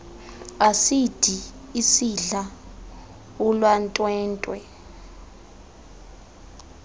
asidi isidla ulwantwentwe